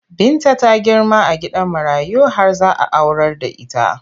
Binta ta girma a gidan marayu har za a aurar da ita.